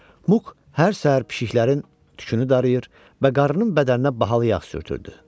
Muk hər səhər pişiklərinin tükünü darıyır və qarının bədəninə bahalı yağ sürtürdü.